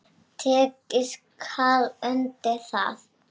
Tekið skal undir það.